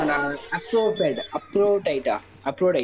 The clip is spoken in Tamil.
Aphrodite Aphrodite.